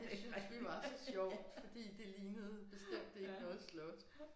Det syntes vi var så sjovt fordi det lignede bestemt ikke noget slot